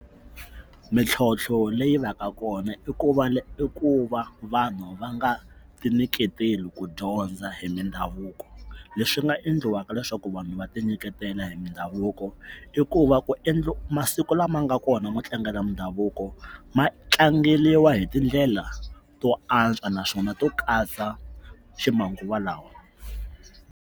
Mintlhotlho leyi va ka kona i ku va i ku va vanhu va nga tinyiketeli ku dyondza hi mindhavuko leswi nga endliwaka leswaku vanhu va tinyiketela hi mindhavuko i ku va ku endla masiku lama nga kona mo tlanga na mindhavuko ma tlangeliwa hi tindlela to antswa naswona to katsa ximanguva lawa.